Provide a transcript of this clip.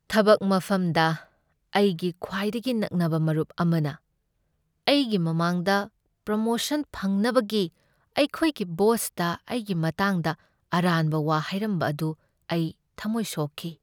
ꯊꯕꯛ ꯃꯐꯝꯗ ꯑꯩꯒꯤ ꯈ꯭ꯋꯥꯏꯗꯒꯤ ꯅꯛꯅꯕ ꯃꯔꯨꯞ ꯑꯃꯅ ꯑꯩꯒꯤ ꯃꯃꯥꯡꯗ ꯄ꯭ꯔꯣꯃꯣꯁꯟ ꯐꯪꯅꯕꯒꯤ ꯑꯩꯈꯣꯏꯒꯤ ꯕꯣꯁꯇ ꯑꯩꯒꯤ ꯃꯇꯥꯡꯗ ꯑꯔꯥꯟꯕ ꯋꯥ ꯍꯥꯏꯔꯝꯕ ꯑꯗꯨ ꯑꯩ ꯊꯥꯃꯣꯏ ꯁꯣꯛꯈꯤ꯫